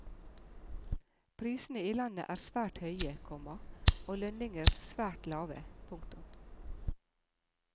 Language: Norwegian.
Prisene i landet er svært høye, komma og lønninger svært lave. punktum